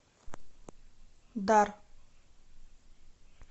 дар